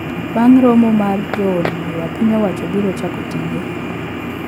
Bang` romo mar jo od bura piny owacho biro chako tije